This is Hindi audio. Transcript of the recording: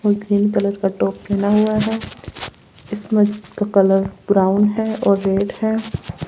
और क्रीम कलर का टॉप पहना हुआ है इसमें का कलर ब्राउन है और रेड है।